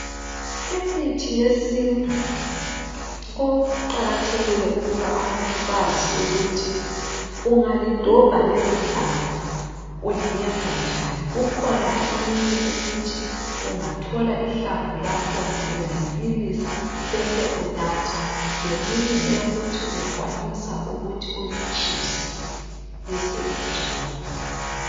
Imithi yesintu kuqakathekile ukuba abantu bazi ukuthi ungalidobha lelo hlamvu uliyenza njani. Kukhona eminye ukuthi ungathola ihlamvu lakhona uyalibilisa bese unatha leminye eyokuthi uyakwanisa ukuthi ulitshise bese sugcoba.